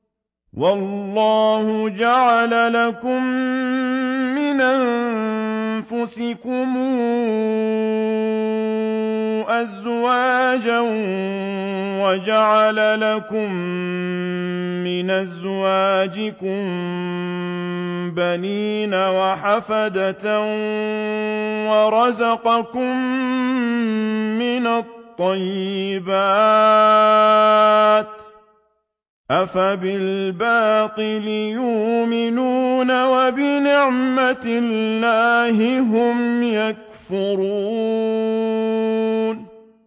وَاللَّهُ جَعَلَ لَكُم مِّنْ أَنفُسِكُمْ أَزْوَاجًا وَجَعَلَ لَكُم مِّنْ أَزْوَاجِكُم بَنِينَ وَحَفَدَةً وَرَزَقَكُم مِّنَ الطَّيِّبَاتِ ۚ أَفَبِالْبَاطِلِ يُؤْمِنُونَ وَبِنِعْمَتِ اللَّهِ هُمْ يَكْفُرُونَ